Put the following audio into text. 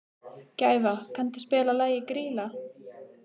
Gæfa, kanntu að spila lagið „Grýla“?